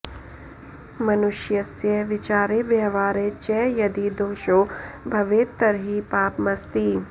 मनुष्यस्य विचारे व्यवहारे च यदि दोषो भवेत् तर्हि पापमस्ति